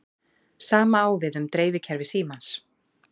Sama á við um dreifikerfi símans.